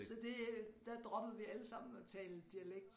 Så det øh der droppede vi allesammen at tale dialekt